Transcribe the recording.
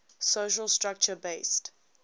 social structure based